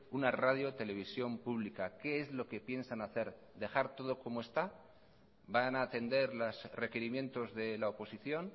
una radio televisión pública qué es lo que piensan hacer dejar todo como está van a atender los requerimientos de la oposición